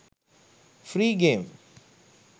free game